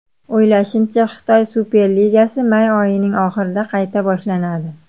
O‘ylashimcha, Xitoy Superligasi may oyining oxirida qayta boshlanadi.